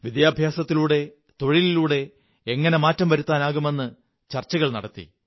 വിദ്യാഭ്യാസത്തിലൂടെ തൊഴിലിലൂടെ എങ്ങനെ മാറ്റം വരുത്താനാകുമെന്നു ചര്ച്ചചകൾ നടത്തി